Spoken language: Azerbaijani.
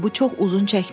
Bu çox uzun çəkmədi.